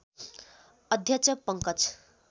अध्यक्ष पंकज